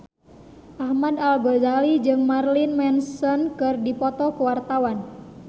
Ahmad Al-Ghazali jeung Marilyn Manson keur dipoto ku wartawan